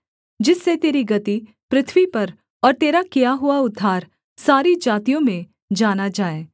जिससे तेरी गति पृथ्वी पर और तेरा किया हुआ उद्धार सारी जातियों में जाना जाए